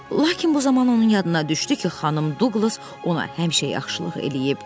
Lakin bu zaman onun yadına düşdü ki, xanım Duqlas ona həmişə yaxşılıq eləyib.